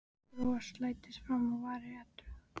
Bros læðist fram á varir Eddu.